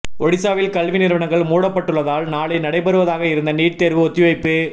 ஒடிசாவில் கல்வி நிறுவனங்கள் மூடப்பட்டுள்ளதால் நாளை நடைபெறுவதாக இருந்த நீட் தேர்வு ஒத்திவைப்பு